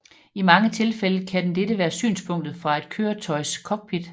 I mange tilfælde kan dette være synspunktet fra et køretøjs cockpit